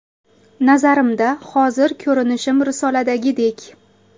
Nazarimda, hozir ko‘rinishim risoladagidek.